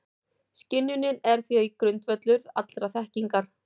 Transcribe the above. Skynjunin er því grundvöllur allrar þekkingar.